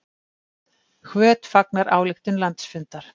Hvöt fagnar ályktun landsfundar